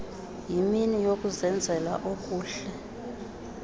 yimini yokuzenzela okuhle